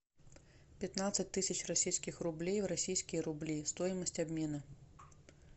пятнадцать тысяч российских рублей в российские рубли стоимость обмена